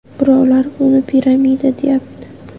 Birovlar buni piramida, deyapti.